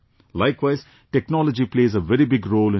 Likewise, technology plays a very big role in education